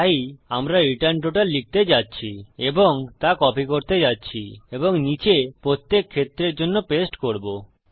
তাই আমরা return total লিখতে যাচ্ছি এবং তা কপি করতে যাচ্ছি এবং নীচে প্রত্যেক ক্ষেত্রের জন্য পেস্ট করবো